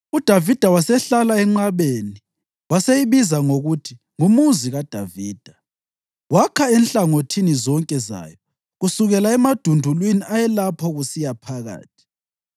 UDavida wasehlala enqabeni waseyibiza ngokuthi nguMuzi kaDavida. Wakha enhlangothini zonke zayo kusukela emadundulwini ayelapho kusiya phakathi.